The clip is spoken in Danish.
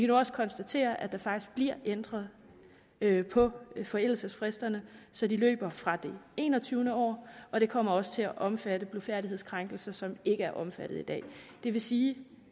nu også konstatere at der faktisk bliver ændret ændret på forældelsesfristerne så de løber fra det enogtyvende år og det kommer også til at omfatte blufærdighedskrænkelse som ikke er omfattet i dag det vil sige